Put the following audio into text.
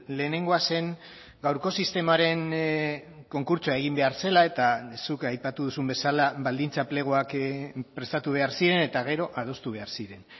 lehenengoa zen gaurko sistemaren konkurtsoa egin behar zela eta zuk aipatu duzun bezala baldintza pleguak prestatu behar ziren eta gero adostu behar ziren